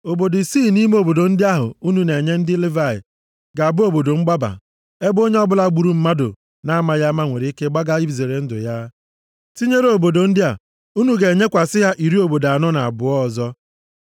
“Obodo isii nʼime obodo ndị ahụ unu na-enye ndị Livayị ga-abụ obodo mgbaba, ebe onye ọbụla gburu mmadụ na-amaghị ama nwere ike gbaga izere ndụ ya. Tinyere obodo ndị a unu ga-enyekwasị ha iri obodo anọ na abụọ ọzọ.